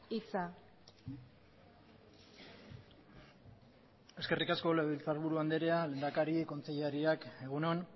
hitza eskerrik asko legebiltzarburu anderea lehendakari kontseilariak egun on